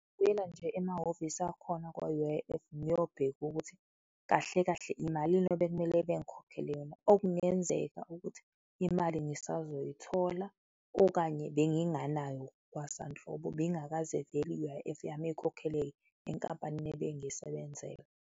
Kuyela nje emahhovisi akhona kwa-U_I_F, ngiyobheka ukuthi kahle kahle imalini ebekumele bengikhokhele yona, okungenzeka ukuthi imali ngisazoyithola okanye benginganayo kwasanhlobo, beyingakaze vele i-U_I_F yami ikhokheleke enkampanini ebengiyisebenzela.